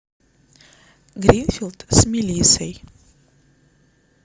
гринфилд с мелиссой